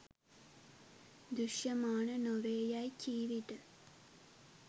දෘශ්‍යමාන නො වේ යෑයි කී විට